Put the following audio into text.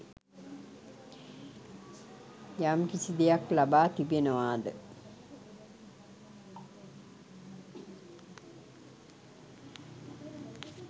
යම්කිසි දෙයක් ලබා තිබෙනවාද